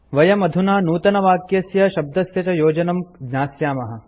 वयम् अधुना नूतनवाक्यस्य शब्दस्य च योजनं ज्ञास्यामः